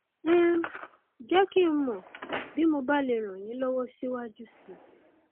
um jẹ kí n mọ bí mo bá lè ràn yín lọwọ síwájú sí i